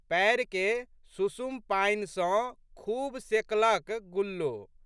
पएरके सुषुम पानि सँ खूब सेकलक गुल्लो।